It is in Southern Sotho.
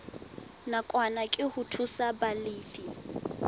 nakwana ke ho thusa balefi